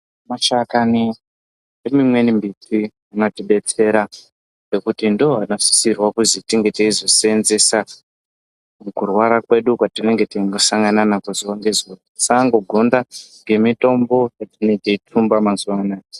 Mashakani emimweni miti anotidetsera ngekuti ndiwo anosisirwa kuzi tinge teizoseenzesa mukurwara kwedu kwetinenge teingosangana nako, zuva ngezuwa, kusangogonda ngemitombo yetinenge teyi tsumba mazuva anaya.